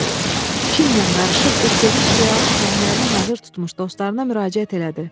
Kinlə qarışıq bir sevinc duyaraq tüfənglərini hazır tutmuş dostlarına müraciət elədi.